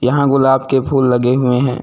यहां गुलाब के फूल लगे हुए हैं।